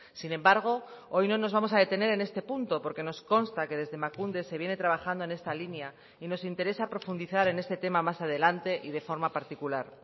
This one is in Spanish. sin embargo hoy no nos vamos a detener en este punto porque nos consta que desde emakunde se viene trabajando en esta línea y nos interesa profundizar en este tema más adelante y de forma particular